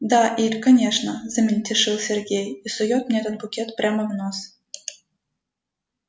да ир конечно замельтешил сергей и сует мне этот букет прямо в нос